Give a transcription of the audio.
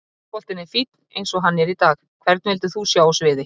Fótboltinn er fínn eins og hann er í dag Hvern vildir þú sjá á sviði?